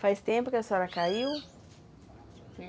Faz tempo que a senhora caiu?